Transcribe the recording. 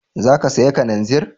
Za ka saya kananzir?